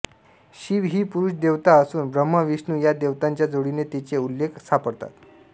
शिव ही पुरुष देवता असून ब्रह्मा विष्णू या देवतांच्या जोडीने तिचे उल्लेख सापडतात